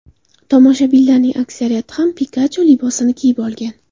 Tomoshabinlarning aksariyati ham Pikachu libosini kiyib olgan.